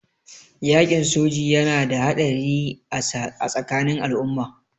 Yaƙin soji yana da haɗari a tsakanin al'umma.